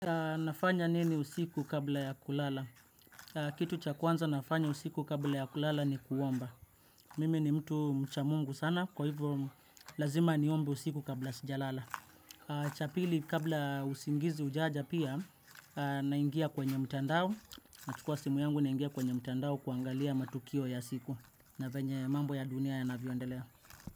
Nafanya nini usiku kabla ya kulala? Kitu cha kwanza nafanya usiku kabla ya kulala ni kuomba. Mimi ni mtu mcha Mungu sana kwa hivyo lazima niombe usiku kabla sijalala. Chapili kabla usingizi hujaja pia naingia kwenye mtandao. Nachukua simu yangu naingia kwenye mtandao kuangalia matukio ya siku. Na vyenye mambo ya dunia yanavyo endelea.